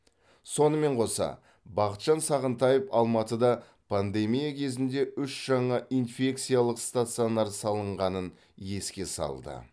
сонымен қоса бақытжан сағынтаев алматыда пандемия кезінде үш жаңа инфекциялық стационар салынғанын еске салды